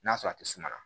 N'a sɔrɔ a tɛ sumaya